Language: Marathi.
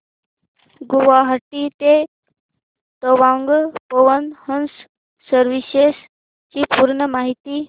गुवाहाटी ते तवांग पवन हंस सर्विसेस ची पूर्ण माहिती